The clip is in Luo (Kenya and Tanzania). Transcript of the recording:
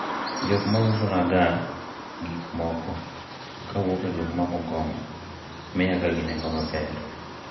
jok mausonaga gik moko kowuok e gweng' mar Bungoma miya ga gi nengo maber